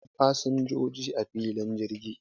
Akwai fasin joji a filin jirgi